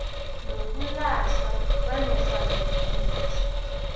nokulahlwa kwanofana ngimuphi